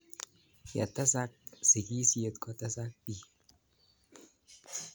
Ye tesak sigisyet kotesak piik